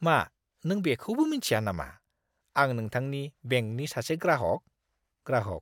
मा नों बेखौबो मिन्थिया नामा आं नोंथांनि बेंकनि सासे ग्राहक? (ग्राहक)